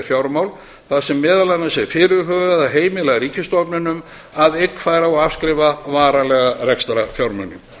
fjármál þar sem meðal annars er fyrirhugað að heimila ríkisstofnunum að eignfæra og afskrifa varanlega rekstrarfjármuni